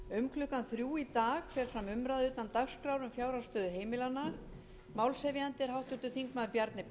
um klukkan þrjú í dag fer fram umræða utan dagskrár um fjárhagsstöðu heimilanna málshefjandi er háttvirtur þingmaður bjarni